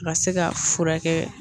Ka se ka furakɛ